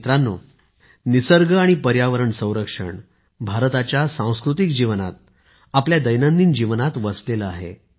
मित्रानो निसर्ग आणि पर्यावरण संरक्षण भारताच्या सांस्कृतिक जीवनात आपल्या दैनंदिन जीवनात वसलेले आहे